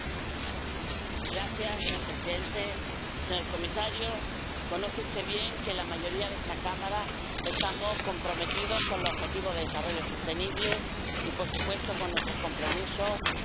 Señor presidente, señor comisario, conoce usted bien que la mayoría de esta Cámara estamos comprometidos con los Objetivos de Desarrollo Sostenible y, por supuesto, con nuestros compromisos con la Cumbre de París.